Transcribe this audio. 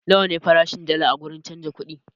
Nawa ne farashin dalla a wurin canza kuɗi?